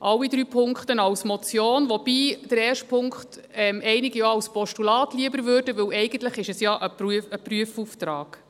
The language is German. alle drei Punkte als Motion, wobei einige den ersten Punkt lieber als Postulat annehmen würden, denn eigentlich ist es ja ein Prüfauftrag.